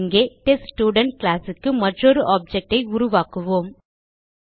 இங்கே டெஸ்ட்ஸ்டுடென்ட் classக்கு மற்றொரு ஆப்ஜெக்ட் ஐ உருவாக்குவோம்